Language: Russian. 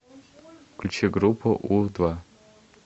включи группу у два